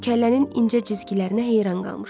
Kəllənin incə cizgilərinə heyran qalmışdı.